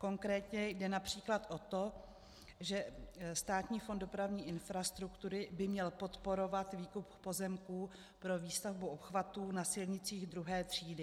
Konkrétně jde například o to, že Státní fond dopravní infrastruktury by měl podporovat výkup pozemků pro výstavbu obchvatů na silnicích II. třídy.